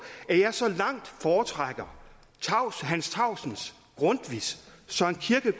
at jeg så langt foretrækker hans tausen grundtvig